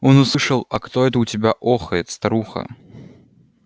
он услышал а кто это у тебя охает старуха